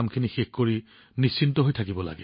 কামবোৰ সম্পূৰ্ণ কৰি লওক আৰু নিশ্চিন্ত হৈ থাকক